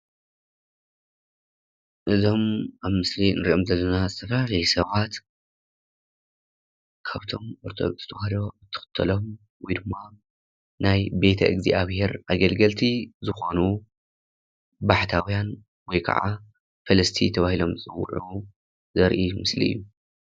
እዞም ኣብ ምስሊ ንሪኦም ዘለና ዝተፈላለዩ ሰባት ካብቶም ተዋህዶ ዝክተሎም ወይ ድማ ናይ ቤተ እግዝኣብሔር ኣገልገልቲ ዝኮኑ ባሕታውያን ወይ ከዓ ፈለስቲ ተበህሎም ዝፅውዑ ዘርኢ ምስሊ እዩ።